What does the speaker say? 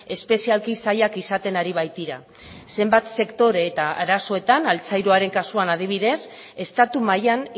espezialki zailak izaten ari baitira zenbat sektore eta arazoetan altzairuaren kasuan adibidez estatu mailan